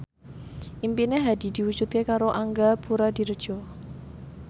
impine Hadi diwujudke karo Angga Puradiredja